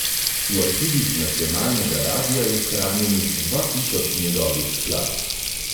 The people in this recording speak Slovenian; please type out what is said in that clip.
V arhivih nacionalnega radia je shranjenih dva tisoč njegovih skladb.